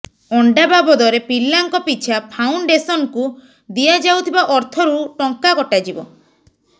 ଅଣ୍ଡା ବାବଦରେ ପିଲାଙ୍କ ପିଛା ଫାଉଣ୍ଡେସନ୍କୁ ଦିଆଯାଉଥିବା ଅର୍ଥରୁ ଟଙ୍କା କଟାଯିବ